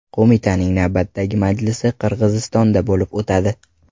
Qo‘mitaning navbatdagi majlisi Qirg‘izistonda bo‘lib o‘tadi.